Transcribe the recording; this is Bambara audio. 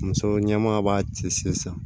Muso ɲɛma b'a cɛ sen san